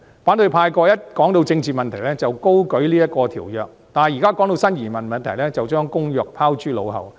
過去，每當談到政治問題，反對派便高舉這項國際公約，但現時談到新移民問題，便將《公約》拋諸腦後。